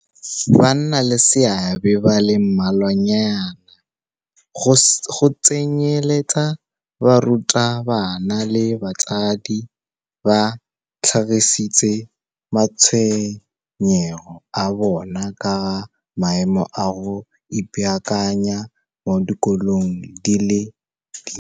Bannaleseabe ba le mmalwanyana, go tsenyeletsa barutabana le batsadi ba tlhagisitse matshwenyego a bona ka ga maemo a go ipaakanya mo dikolong di le dintsi.